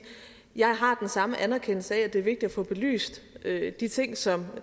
at jeg har den samme anerkendelse af at det er vigtigt at få belyst de ting som